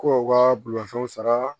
Kow ka bolimafɛnw sara